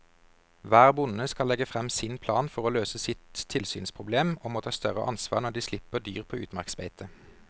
Hver bonde skal legge frem sin plan for å løse sitt tilsynsproblem og må ta større ansvar når de slipper dyr på utmarksbeite.